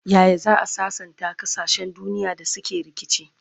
Yaya za'a sassanta kasashen duniya da suke rikici?